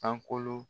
Sankolo